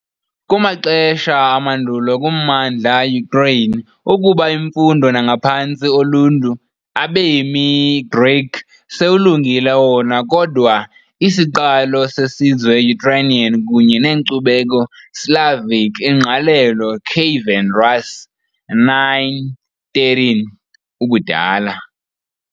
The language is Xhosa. Kumaxesha amandulo kummandla Ukraine ukuba imfundo nabaphantsi oluntu, abemi Greek sewulungile wona, kodwa isiqalo sisizwe Ukrainian kunye neenkcubeko Slavic ingqalelo Kievan Rus 9-13 ubudala.